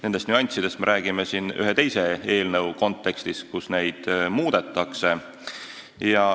Nendest nüanssidest me räägime ühe teise eelnõu kontekstis, millega neid reegleid muudetakse.